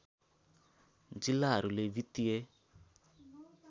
जिल्लाहरूले वित्तीय